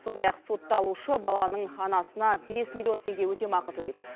сондай ақ сотталушы баланың анасына бес миллион теңге өтемақы төлейді